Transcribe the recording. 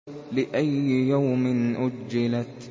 لِأَيِّ يَوْمٍ أُجِّلَتْ